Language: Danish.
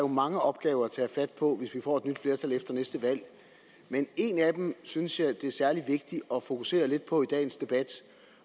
mange opgaver at tage fat på hvis vi får et nyt flertal efter næste valg men en af dem synes jeg er særlig vigtig at fokusere lidt på i dagens debat